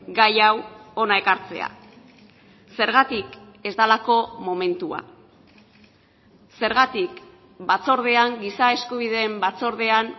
gai hau hona ekartzea zergatik ez delako momentua zergatik batzordean giza eskubideen batzordean